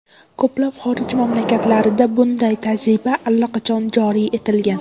Ko‘plab xorij mamlakatlarida bunday tajriba allaqachon joriy etilgan.